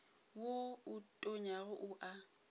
wo o tonyago o a